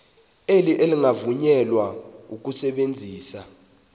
elo lingavunyelwa ukusebenzisa